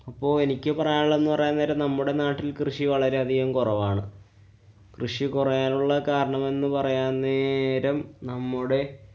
ഇപ്പൊ എനിക്ക് പറയാനുള്ളത് എന്നുപറയാന്‍ നേരം നമ്മുടെ നാട്ടില്‍ കൃഷി വളരെയധികം കുറവാണ്. കൃഷികുറയാനുള്ള കാരണം എന്ന് പറയാന്‍ന്നേരം നമ്മുടെ